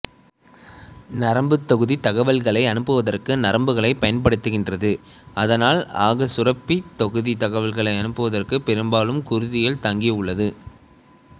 நரம்புத் தொகுதி தகவல்களை அனுப்புவதற்கு நரம்புகளைப் பயன்படுத்துகின்றது ஆனால் அகச்சுரப்பித் தொகுதி தகவல்களை அனுப்புவதற்குப் பெரும்பாலும் குருதியில் தங்கியுள்ளது